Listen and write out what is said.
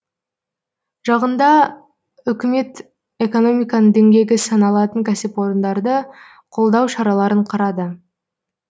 жақында үкімет экономиканың діңгегі саналатын кәсіпорындарды қолдау шараларын қарады